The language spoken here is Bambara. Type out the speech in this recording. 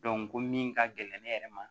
ko min ka gɛlɛn ne yɛrɛ ma